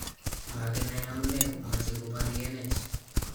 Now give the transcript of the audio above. Makinai amunee komache kobaryenech